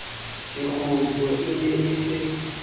sekgutlo e ne e se